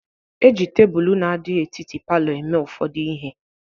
E ji tebulu na-adị etiti palọ eme ụfọdụ ihe.